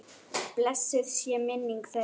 Blessuð sé minning þeirra.